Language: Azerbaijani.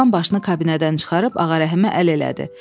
Oğlan başını kabinədən çıxarıb Ağa Rəhimə əl elədi.